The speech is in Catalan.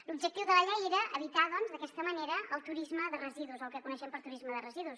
l’objectiu de la llei era evitar doncs d’aquesta manera el turisme de residus o el que coneixem per turisme de residus